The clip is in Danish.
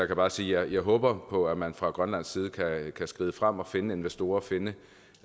kan bare sige at jeg håber på at man fra grønlands side kan skride frem og finde investorer og finde